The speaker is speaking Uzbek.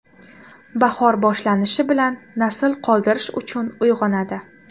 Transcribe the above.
Bahor boshlanishi bilan nasl qoldirish uchun uyg‘onadi.